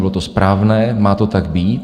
Bylo to správné, má to tak být.